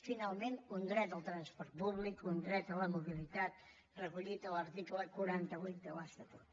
finalment un dret al transport públic un dret a la mobilitat recollit a l’article quaranta vuit de l’estatut